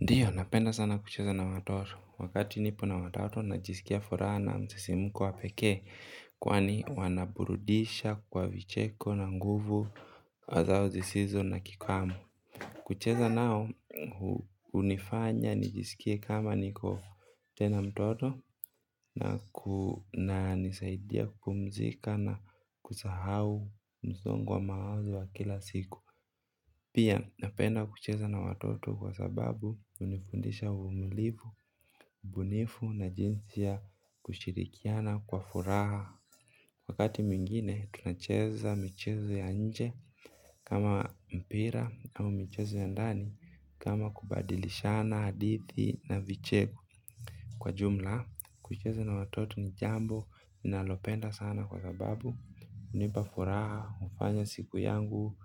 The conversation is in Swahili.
Ndiyo napenda sana kucheza na watoto wakati nipo na watoto najisikia furaha na msisimko wa pekee kwani wanaburudisha kwa vicheko na nguvu zao zisizo na kikwamo. Kucheza nao hunifanya nijisikie kama niko tena mtoto na kunisaidia kupumzika na kusahau msongo wa mawazo wa kila siku pia napenda kucheza na watoto kwa sababu hunifundisha uvumilivu ubunifu na jinsi ya kushirikiana kwa furaha. Wakati mwingine tunacheza michezo ya nje kama mpira au michezo ya ndani kama kubadilishana hadithi na vicheko kwa jumla. Kucheza na watoto ni jambo ninalopenda sana kwa sababu hunipa furaha hufanya siku yangu